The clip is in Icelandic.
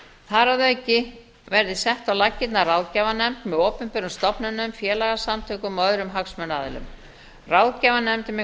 þar að auki verði sett á laggirnar ráðgjafarnefnd með opinberum stofnunum félagasamtökum og öðrum hagsmunaaðilum ráðgjafarnefndin mun